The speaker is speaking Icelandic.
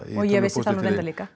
ég vissi það nú reyndar líka